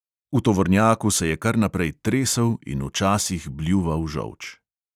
V tovornjaku se je kar naprej tresel in včasih bljuval žolč.